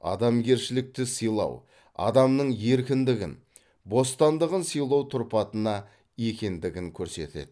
адамгершілікті сыйлау адамның еркіндігін бостандығын сыйлау тұрпатына енгендігін көрсетеді